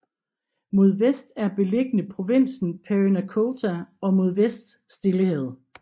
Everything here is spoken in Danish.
Mod vest er beliggende provinsen Parinacota og mod vest Stillehavet